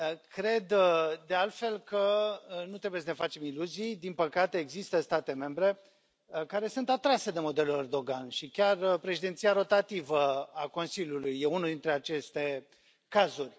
Cred, de altfel, că nu trebuie să ne facem iluzii, din păcate există state membre care sunt atrase de modelul Erdogan și chiar președinția rotativă a Consiliului e unul dintre aceste cazuri.